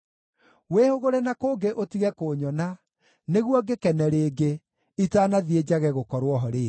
Wĩhũgũre na kũngĩ ũtige kũnyona, nĩguo ngĩkene rĩngĩ, itanathiĩ njage gũkorwo ho rĩngĩ.”